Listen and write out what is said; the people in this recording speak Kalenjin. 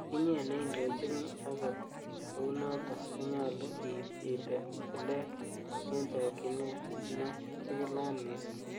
Inye neindochini, akot kounoton konyolu iib itil tilet en chokyinet ne chigilat missing.